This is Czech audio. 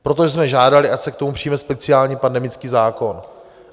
Proto jsme žádali, ať se k tomu přijme speciální pandemický zákon.